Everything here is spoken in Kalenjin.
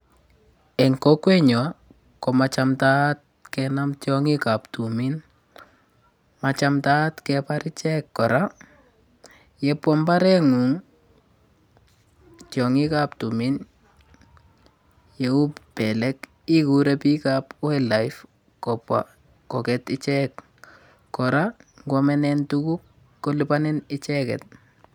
Eng kokwenyon komachawtaat kenam tiong'ikab tumin majamtaat kebar ichek kora. Yebwaa mbareng'ung tiang'ikab tumin yeuu belek igurei biikab wildlife kobwa nyo koget ichek. Kora ngwamenen tuguk kolipanin icheget.